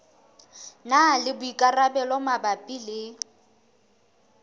na le boikarabelo mabapi le